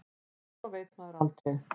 En svo veit maður aldrei.